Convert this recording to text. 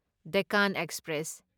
Deccan express